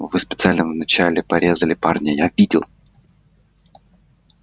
вы специально вначале порезали парня я видел